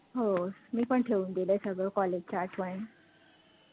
हो मी पण ठेऊन दिलं सगळं college च्या आठवणी